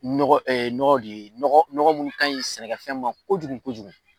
Nɔgɔ nɔgɔ de nɔgɔ munnu kaɲi sɛnɛkɛfɛn ma, kojugu kojugu